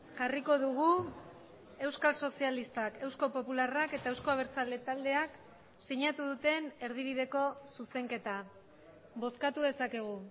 jarriko dugu euskal sozialistak eusko popularrak eta euzko abertzale taldeak sinatu duten erdibideko zuzenketa bozkatu dezakegu